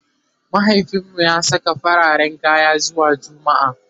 mahaifinmu ya Saka fararen kaya zuwa jumma'a